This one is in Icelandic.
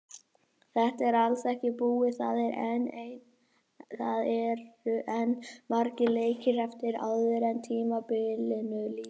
Þetta er alls ekki búið, það eru enn margir leikir eftir áður en tímabilinu lýkur.